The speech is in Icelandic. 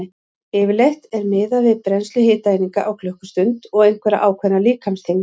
Yfirleitt er miðað við brennslu hitaeininga á klukkustund og einhverja ákveðna líkamsþyngd.